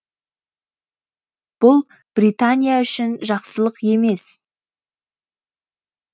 бұл британия үшін жақсылық емес